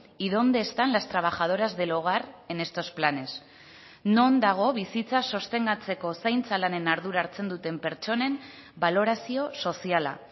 y dónde están las trabajadoras del hogar en estos planes non dago bizitza sostengatzeko zaintza lanen ardura hartzen duten pertsonen balorazio soziala